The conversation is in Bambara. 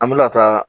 An bɛna taa